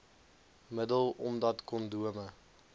middel omdat kondome